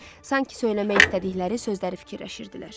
Sanki söyləmək istədikləri sözləri fikirləşirdilər.